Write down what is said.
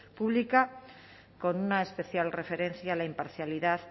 pública con una especial referencia a la imparcialidad